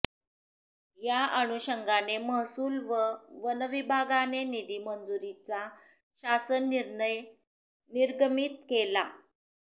या अनुषंगाने महसूल व वन विभागाने निधी मंजुरीचा शासन निर्णय निर्गमित केला